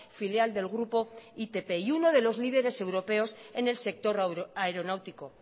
filial del grupo itp y uno de los líderes europeos en el sector aeronáutico